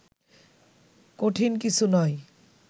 কঠিন কিছু নয়